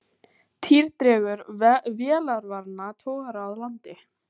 Týr dregur vélarvana togara að landi